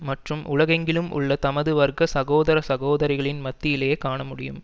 மற்றும் உலகெங்கிலும் உள்ள தமது வர்க்க சகோதர சகோதரிகளின் மத்தியிலேயே காணமுடியும்